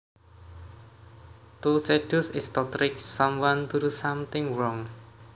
To seduce is to trick someone to do something wrong